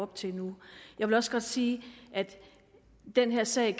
til nu jeg vil også godt sige at den her sag